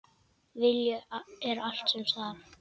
Vilji er allt sem þarf.